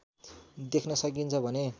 देख्न सकिन्छ भने